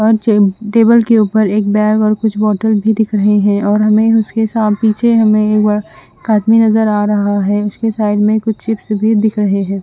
Table के उपर एक बैग और कुछ बोथल भी दिख रहे है और हमने उसके हाथ पीछे एक आदमी नजर आ रहा है उसके साइड में कुछ चिप्स भी दिख रहे है।